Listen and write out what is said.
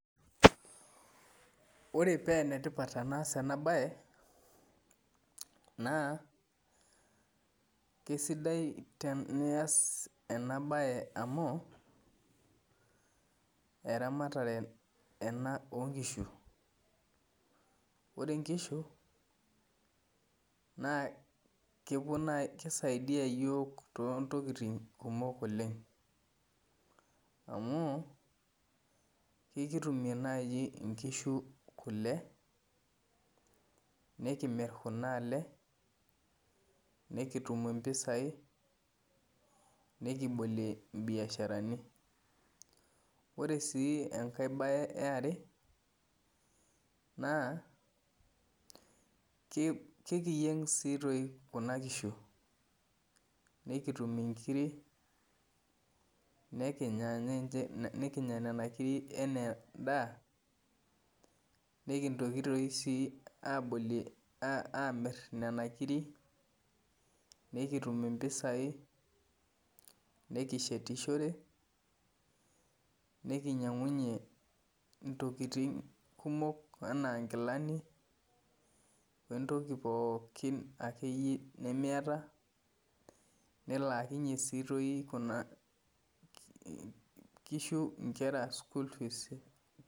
Ore pee ena tipatenass ena baye naa kisaidia amuu eramatare oo nkishu, ore nkishu naa kisaidia yiook too ntokitin kumok, amuu ekitumie naaji kule, nikimirr kina le ikitum mpisai nikibolie mbiasharani. Ore sii enkae bae yare naa ekiyueng nkishu nikinya nkiri anaa endaa nikimirr kuna kiri niknyang'unye nkilani, nikishetishore, nikisumie sii nkera.